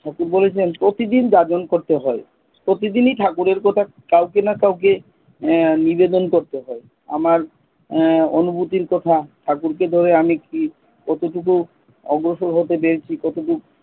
ঠাকুর বলেছেন প্রতিদিন যাজন করতে হয়। প্রতিদিনই ঠাকুরের কথা কাউকে না কাউকে এর নিবেদন করতে হয়। আমার এর অনুভুতির কথা ঠাকুরকে দেবে। আমি কি কতটা অগ্রসর হতে পেরেছি, কতটুক,